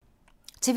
TV 2